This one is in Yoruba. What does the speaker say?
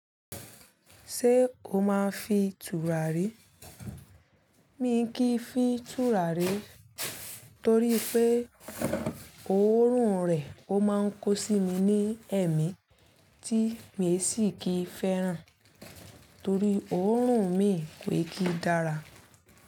Ṣé o máa ń fi tùràrí? Mi kì í fi tùràrí torí pé òórùn rẹ̀ ó máa ń kó sí mi ní èémí tí mi sì kì í fẹ́ràn torí òórùn mi kò ki dára.